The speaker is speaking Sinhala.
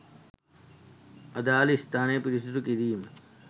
අදාළ ස්ථාන පිරිසුදු කිරීම